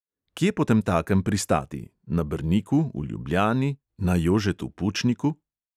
Kje potemtakem pristati: na brniku, v ljubljani, na jožetu pučniku?